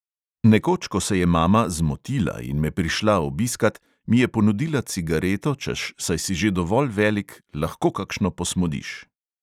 Nekoč, ko se je mama "zmotila" in me prišla obiskat, mi je ponudila cigareto, češ saj si že dovolj velik, lahko kakšno posmodiš.